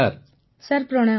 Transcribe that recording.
Punam Nautiyal sir ପ୍ରଣାମ